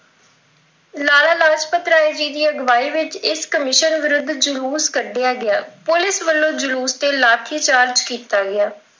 ਲਾਲ ਲਾਜਪਤ ਰਾਏ ਦੀ ਅਗਵਾਈ ਵਿੱਚ ਇਸ ਕਮਿਸ਼ਨ ਵਿਰੁੱਧ ਜਲੂਸ ਕੱਢਿਆਂ ਗਿਆ। ਪੁਲਿਸ ਵੱਲੋਂ ਜਲੂਸ ਤੇ ਲਾਠੀਚਾਰਜ ਕੀਤਾ ਗਿਆ।